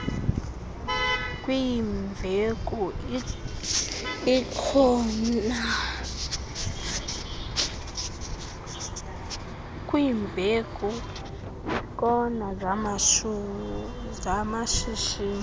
kwiimveku iikona zamashishini